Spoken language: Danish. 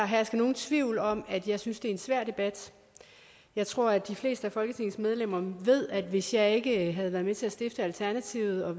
herske nogen tvivl om at jeg synes det er en svær debat jeg tror at de fleste af folketingets medlemmer ved at hvis jeg ikke havde været med til at stifte alternativet og